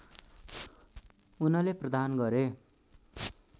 उनले प्रदान गरे